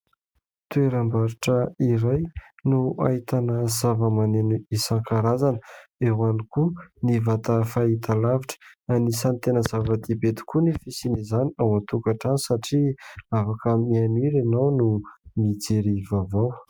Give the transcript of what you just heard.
Toeram-barotra iray no ahitana zava-maneno isankarazany, eo ihany koa ny vata fahitalavitra. Anisany tena zava-dehibe tokoa ny fisian'izany ao an-tokatrano, satria afaka mihaino hira ianao, no mijery vaovao.